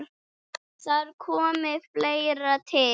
Þar komi fleira til.